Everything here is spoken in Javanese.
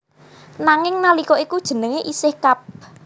Nanging nalika iku jenenge isih Kab